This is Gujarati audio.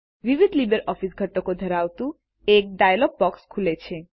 વિવિધ લીબરઓફીસ ઘટકો ધરાવતું એક ડાયલોગ બોક્સ ખુલે છે